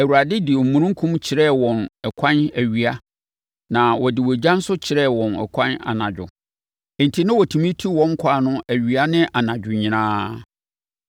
Awurade de omununkum kyerɛɛ wɔn ɛkwan awia na ɔde ogya nso kyerɛɛ wɔn ɛkwan anadwo. Enti na wɔtumi tu wɔn kwan no awia ne anadwo nyinaa.